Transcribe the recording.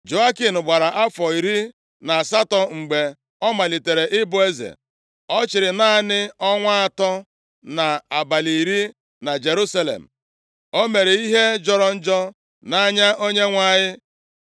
Jehoiakin gbara afọ iri na asatọ + 36:9 Otu akwụkwọ ndị Hibru, ụfọdụ akwụkwọ ndị ọzọ na nke Siriak, ma karịchasịa akwụkwọ ndị Hibru na-ede afọ asatọ. \+xt 2Ez 24:8\+xt* mgbe ọ malitere ịbụ eze, ọ chịrị naanị ọnwa atọ na abalị iri na Jerusalem. O mere ihe jọrọ njọ nʼanya Onyenwe anyị.